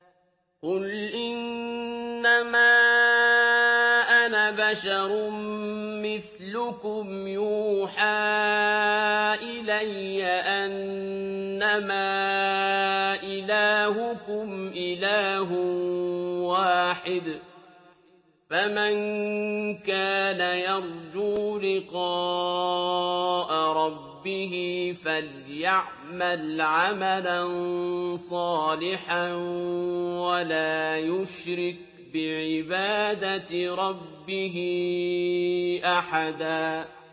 قُلْ إِنَّمَا أَنَا بَشَرٌ مِّثْلُكُمْ يُوحَىٰ إِلَيَّ أَنَّمَا إِلَٰهُكُمْ إِلَٰهٌ وَاحِدٌ ۖ فَمَن كَانَ يَرْجُو لِقَاءَ رَبِّهِ فَلْيَعْمَلْ عَمَلًا صَالِحًا وَلَا يُشْرِكْ بِعِبَادَةِ رَبِّهِ أَحَدًا